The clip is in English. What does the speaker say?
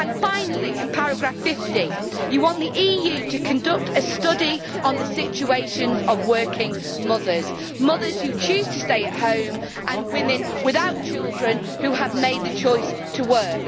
Finally, in paragraph 50, you want the EU to conduct a study on the situations of working mothers, mothers who choose to stay at home and women without children who have made the choice to work.